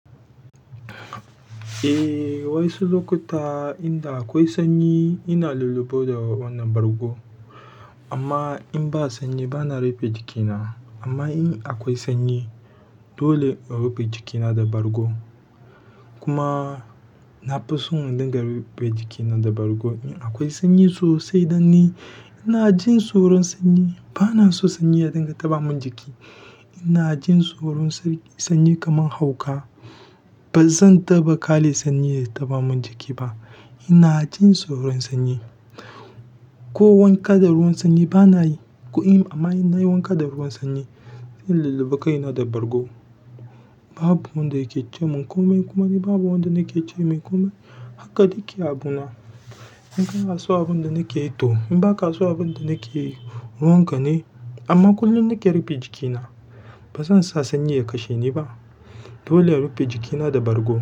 Eh, wasu lokuta inda akwai sanyi ina lulluɓuwa da wannan bargo. Amma in ba sanyi bana rufe jikina. Amma in akwai sanyi dole in rufe jikina da bargo. Kuma na fi son in dinga rufe jikina da bargo in akwai sanyi sosai don ni ina jin tsoron sanyi. Bana so sanyi ya dinga taɓa mun jiki. Ina jin tsoron sanyi kamar hauka. Ba zan taɓa ƙyale sanyi ya taban min jiki ba. Ina jin tsoron sanyi. Ko wanka da ruwan sanyi bana yi. Amma in nayi wanka da ruwan sanyi, zan lulluɓu kaina da bargo. Babu wanda yake ce min komai kuma ni babu wanda nake ce mai komai. Haka take abuna. In ka na son abin da nake yi to in ba ka kason abin da nake yi ruwan ka ne. Amma kullum nake rufe jikina. Ba zan sa sanyi ya kashe ni ba. Dole in rufe jikina da bargo.